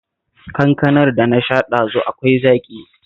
Kankanar da na sha ɗazu akwai zaƙi